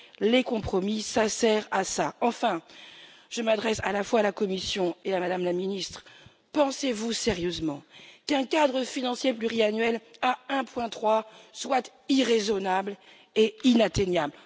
Les compromis servent à cela. Enfin, je m'adresse à la fois à la Commission et à Mme la Ministre, pensez vous sérieusement qu'un cadre financier pluriannuel à 1,3 soit irraisonnable et inatteignable?